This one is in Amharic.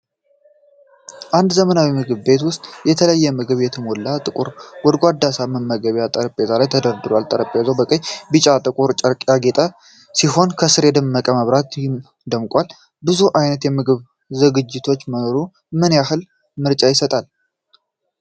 አንድ ዘመናዊ ምግብ ቤት ውስጥ፣ የተለያየ ምግብ የተሞሉ ጥቁር ጎድጓዳ ሳህኖች በመመገቢያ ጠረጴዛ ላይ ተደርድረዋል። ጠረጴዛው በቀይ፣ ቢጫና ጥቁር ጨርቅ ያጌጠ ሲሆን ከስር በደመቀ መብራት ደምቋል። ብዙ ዓይነት የምግብ ዝግጅቶች መኖሩ ምን ያህል ምርጫ ይሰጣል?